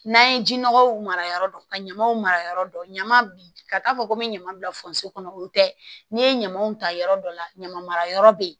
N'an ye ji nɔgɔw mara yɔrɔ dɔn ka ɲamaw mara yɔrɔ dɔn ɲaman ben ka taa fɔ ko n bɛ ɲama bila kɔnɔ o tɛ n'i ye ɲamaw ta yɔrɔ dɔ la ɲamara yɔrɔ bɛ yen